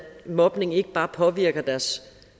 mobning ikke bare påvirker deres